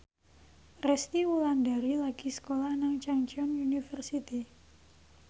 Resty Wulandari lagi sekolah nang Chungceong University